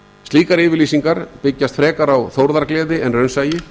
slíkar yfirlýsingar byggjast frekar á þórðargleði en raunsæi